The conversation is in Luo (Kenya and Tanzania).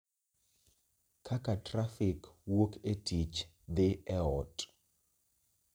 kaka trafik wuok e tich dhi e ot